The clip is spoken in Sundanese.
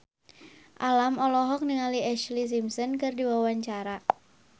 Alam olohok ningali Ashlee Simpson keur diwawancara